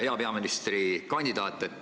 Hea peaministrikandidaat!